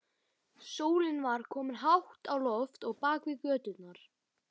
Sólin var komin hátt á loft og bakaði göturnar.